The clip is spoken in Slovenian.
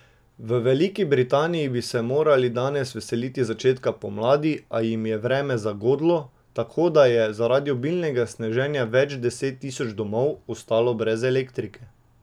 V Veliki Britaniji bi se morali danes veseliti začetka pomladi, a jim je vreme zagodlo, tako da je zaradi obilnega sneženja več deset tisoč domov ostalo brez elektrike.